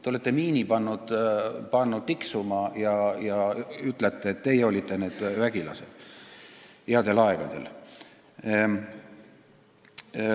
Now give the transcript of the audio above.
Te olete pannud miini tiksuma ja ütlete, et teie olite need vägilased headel aegadel.